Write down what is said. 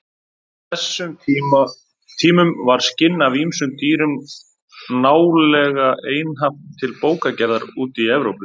Á þessum tímum var skinn af ýmsum dýrum nálega einhaft til bókagerðar úti í Evrópu.